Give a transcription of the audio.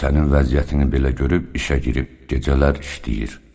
Sənin vəziyyətini belə görüb işə girib gecələr işləyir.